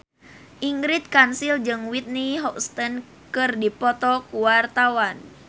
Ingrid Kansil jeung Whitney Houston keur dipoto ku wartawan